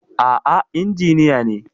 A'a injiniya ne.